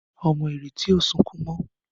Ọmọ Ireti o sọkún mo.